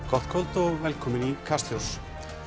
gott kvöld og velkomin í Kastljós